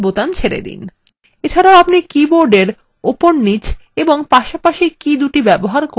এছাড়াও আপনি keyboardarrow উপর নীচ এবং পাশাপাশি কীদুটি ব্যবহার করে একটি বস্তু সরাতে পারেন